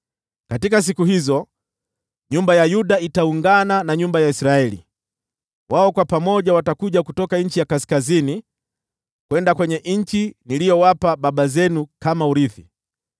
Katika siku hizo, nyumba ya Yuda itaungana na nyumba ya Israeli, wao kwa pamoja watakuja kutoka nchi ya kaskazini hadi nchi niliyowapa baba zenu kama urithi.